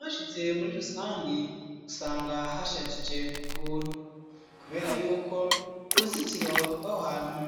Hashitse muri rusangi usanga hashajije ukuntu kubera yuko uruzitiro rw'aho hantu